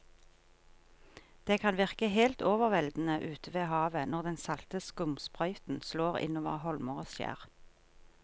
Det kan virke helt overveldende ute ved havet når den salte skumsprøyten slår innover holmer og skjær.